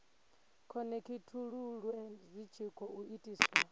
khonekhithululwe zwi tshi khou itiswa